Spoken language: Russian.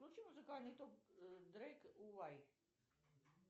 включи музыкальный топ дрейк уай